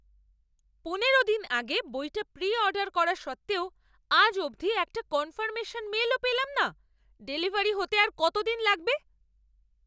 পনেরো দিন আগে বইটা প্রি অর্ডার করা সত্ত্বেও আজ অবধি একটা কনফার্মেশন মেল ও পেলাম না। ডেলিভারি হতে কত দিন লাগবে?